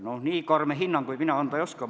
Noh nii karme hinnanguid mina anda ei oska.